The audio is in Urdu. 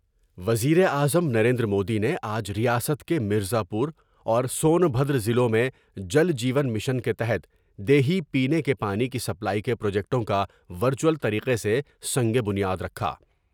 وزیراعظم نریندر مودی نے آج ریاست کے مرزا پور اور سون بھدرضلعوں میں جل جیون مشن کے تحت دیہی پینے کے پانی کی سپلائی کے پروجیکٹوں کا ورچوٹل طریقہ سے سنگ بنیا درکھا ۔